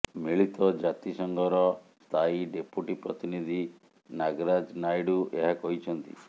ମିଳିତ ଜାତିସଂଘର ସ୍ଥାୟୀ ଡେପୁଟି ପ୍ରତିନିଧୀ ନାଗରାଜ ନାଇଡୁ ଏହା କହିଛନ୍ତି